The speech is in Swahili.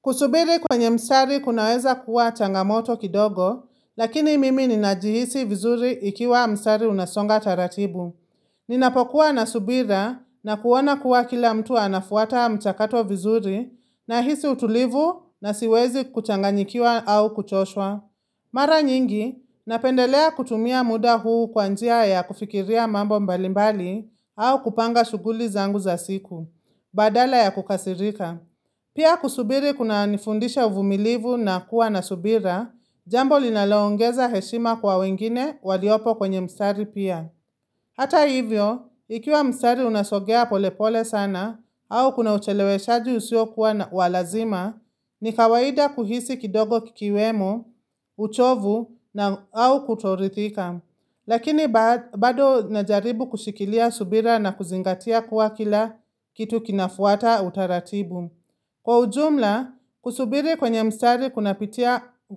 Kusubiri kwenye msari kunaweza kuwa changamoto kidogo, lakini mimi ninajihisi vizuri ikiwa msari unasonga taratibu. Ninapokuwa na subira na kuona kuwa kila mtu anafuata mchakato vizuri nahisi utulivu na siwezi kuchanganyikiwa au kuchoshwa. Mara nyingi, napendelea kutumia muda huu kwa njia ya kufikiria mambo mbalimbali au kupanga shuguli zangu za siku, badala ya kukasirika. Pia kusubiri kunanifundisha uvumilivu na kuwa na subira, jambo linaloongeza heshima kwa wengine waliopo kwenye msari pia. Hata hivyo, ikiwa mstari unasogea polepole sana au kuna ucheleweshaji usio kuwa walazima, ni kawaida kuhisi kidogo kikiwemo, uchovu na au kutorithika. Lakini bado najaribu kushikilia subira na kuzingatia kuwa kila kitu kinafuata utaratibu. Kwa ujumla, kusubiri kwenye mstari